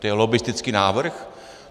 To je lobbistický návrh?